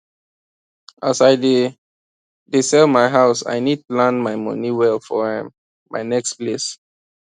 as i dey dey sell my house i need plan my money well for um my next place